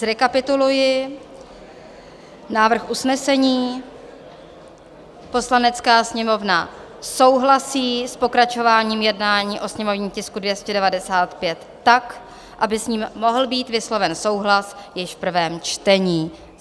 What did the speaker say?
Zrekapituluji návrh usnesení: "Poslanecká sněmovna souhlasí s pokračováním jednání o sněmovním tisku 295 tak, aby s ním mohl být vysloven souhlas již v prvém čtení."